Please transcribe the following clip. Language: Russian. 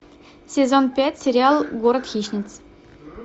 сезон пять сериал город хищниц